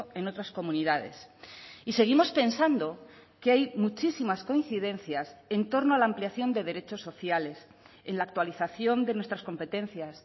en otras comunidades y seguimos pensando que hay muchísimas coincidencias en torno a la ampliación de derechos sociales en la actualización de nuestras competencias